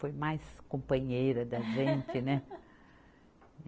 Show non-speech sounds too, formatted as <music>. Foi mais companheira da gente, né? <laughs>